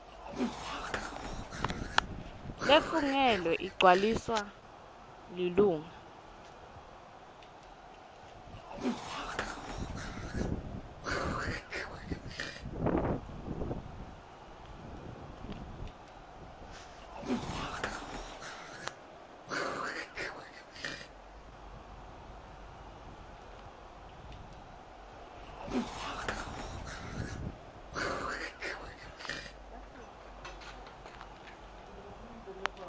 lefungelwe igcwaliswa lilunga